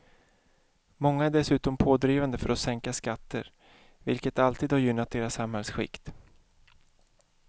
Många är dessutom pådrivande för att sänka skatter, vilket alltid har gynnat deras samhällsskikt.